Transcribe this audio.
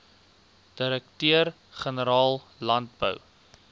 direkteur generaal landbou